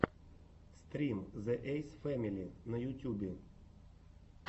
стрим зе эйс фэмили на ютюбе